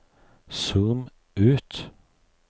zoom ut